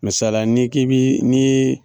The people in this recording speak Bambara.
Misaliya la ni k'i bi ni ye.